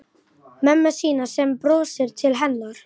Mömmu sína sem brosir til hennar.